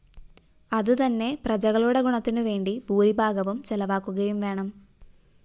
അതുതന്നെ പ്രജകളുടെ ഗുണത്തിനുവേണ്ടി ഭൂരിഭാഗവും ചെലവാക്കുകയുംവേണം